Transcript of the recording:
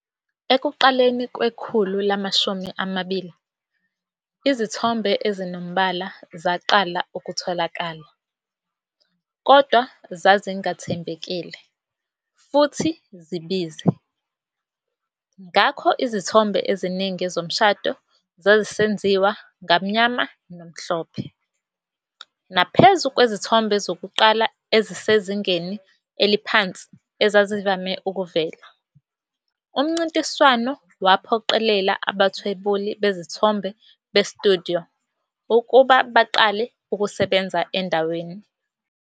Ekuqaleni kwekhulu lama-20, izithombe ezinombala zaqala ukutholakala, kodwa zazingathembekile futhi zibize, ngakho izithombe eziningi zomshado zazisenziwa ngamnyama nomhlophe. Naphezu kwezithombe zokuqala ezisezingeni eliphansi ezazivame ukuvela, umncintiswano waphoqelela abathwebuli bezithombe be-studio ukuba baqale ukusebenza endaweni.